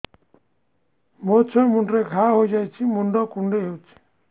ମୋ ଛୁଆ ମୁଣ୍ଡରେ ଘାଆ ହୋଇଯାଇଛି ମୁଣ୍ଡ କୁଣ୍ଡେଇ ହେଉଛି